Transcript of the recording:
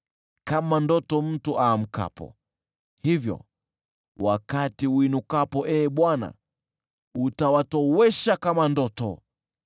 Kama ndoto mtu aamkapo, hivyo wakati uinukapo, Ee Bwana , utawatowesha kama ndoto.